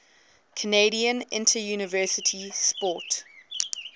canadian interuniversity sport